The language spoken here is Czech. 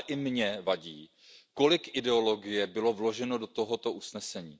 Ale i mně vadí, kolik ideologie bylo vloženo do tohoto usnesení.